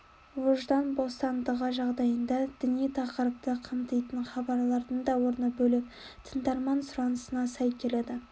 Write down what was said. ождан бостандығы жағдайында діни тақырыпты қамтитын хабарлардың да орны бөлек тыңдарман сұранысына сай келеді